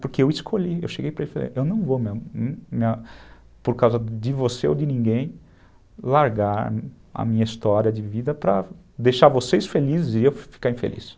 Porque eu escolhi, eu cheguei para ele e falei, eu não vou mesmo, por causa de você ou de ninguém, largar a minha história de vida para deixar vocês felizes e eu ficar infeliz.